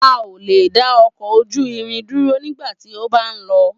A o le dá ọkọ ojú irin dúró nigbati o ba n lọ